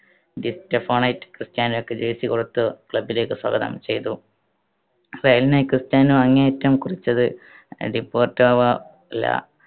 ഡിസ്റ്റഫോണയ്റ്റ് ക്രിസ്റ്റ്യാനോയ്ക്ക് jersey കൊടുത്ത് club ലേക്ക് സ്വാഗതം ചെയ്‌തു. റയലിനായി ക്രിസ്റ്റ്യാനോ അരങ്ങേറ്റം കുറിച്ചത് ഡീപോർട്ടാവ ലാ